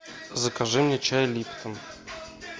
закажи мне чай липтон